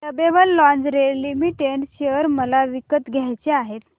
lovable lingerie limited share मला विकत घ्यायचे आहेत